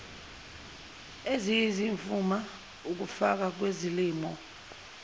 eziyizimfuma ukufa kwezilimo